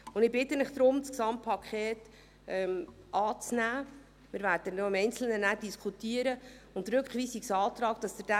Ich bitte Sie deshalb, das Gesamtpaket anzunehmen – im Einzelnen werden wir dann noch diskutieren – und bitte Sie, den Rückweisungsantrag abzulehnen.